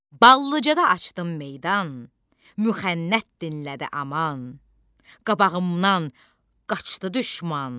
Ballıcadada açdım meydan, müxənnət dinlədi aman, qabağımdan qaçdı düşman.